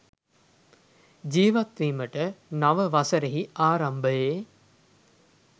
ජීවත්වීමට නව වසරෙහි ආරම්භයේ